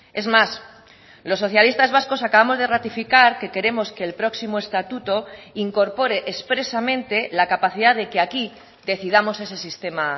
es más los socialistas vascos acabamos de ratificar que queremos que el próximo estatuto incorpore expresamente la capacidad de que aquí decidamos ese sistema